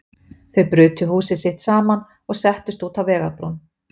Þau brutu húsið sitt saman og settust út á vegarbrún.